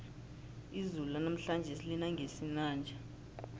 izulu lanamhlanje lina ngesinanja